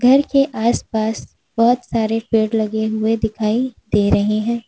घर के आस पास बहोत सारे पेड़ लगे हुए दिखाइए दे रहे हैं।